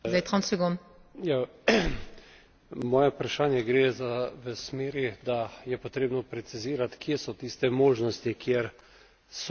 Moje vprašanje gre v smeri, da je potrebno precizirat, kje so tiste možnosti, kjer so lahko ti postopki enostavnejši.